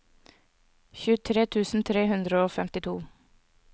tjuetre tusen tre hundre og femtito